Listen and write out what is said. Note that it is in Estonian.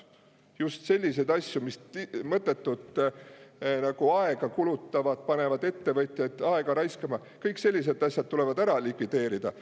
Just sellised asjad, mis mõttetult aega kulutavad, panevad ettevõtjaid aega raiskama, tuleb ära likvideerida.